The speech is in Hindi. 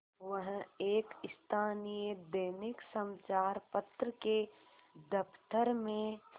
वह एक स्थानीय दैनिक समचार पत्र के दफ्तर में